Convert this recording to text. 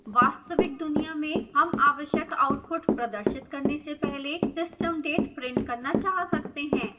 वास्तविक दुनिया में हम आवश्यक output प्रदर्शित करने से पहले system date print करना चाह सकते हैं